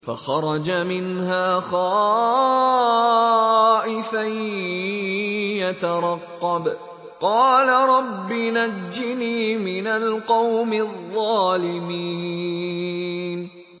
فَخَرَجَ مِنْهَا خَائِفًا يَتَرَقَّبُ ۖ قَالَ رَبِّ نَجِّنِي مِنَ الْقَوْمِ الظَّالِمِينَ